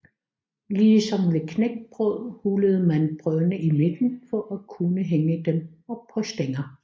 Ligesom ved knækbrød hullede man brødene i midten for at kunne hænge dem op på stænger